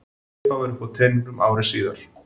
Svipað var uppi á teningnum ári síðar.